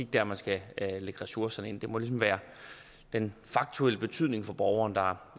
der man skal lægge ressourcerne det må ligesom være den faktuelle betydning for borgeren der